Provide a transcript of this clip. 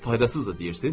Faydasızdır deyirsiz?